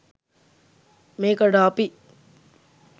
මේකට අපි